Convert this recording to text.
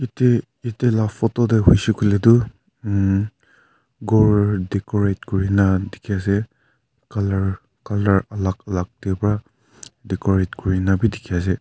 te ite la photo teh hoishe kuile toh hm ghor decorate kuri na dekhi ase colour colour alag alag teh pra decorate kuri nabi dikhi ase.